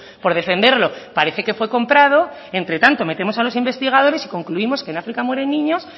por defenderlo parece que fue comprado entre tanto metemos a los investigadores y concluimos que en áfrica mueren niños